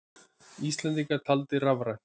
Íslendingar taldir rafrænt